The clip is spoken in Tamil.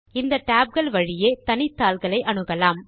இந்த tab கள் வழியே தனித்தாள்களை அணுகலாம்